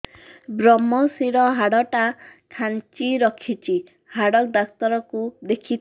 ଵ୍ରମଶିର ହାଡ଼ ଟା ଖାନ୍ଚି ରଖିଛି ହାଡ଼ ଡାକ୍ତର କୁ ଦେଖିଥାନ୍ତି